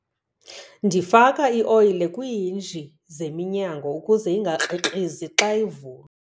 Ndifaka ioyile kwiihinji zeminyango ukuze ingakrikrizi xa ivulwa.